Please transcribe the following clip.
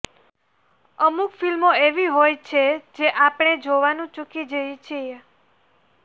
અમુક ફિલ્મો એવી હોય છે જે આપણે જોવાનું ચુકી જઈએ છીએ